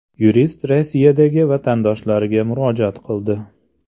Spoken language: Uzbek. Yurist Rossiyadagi vatandoshlarga murojaat qildi.